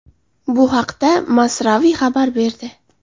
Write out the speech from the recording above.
Bu haqda Masrawy xabar berdi.